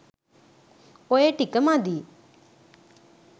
ඔය ටික මදි.